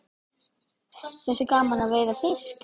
Finnst þér gaman að veiða fisk?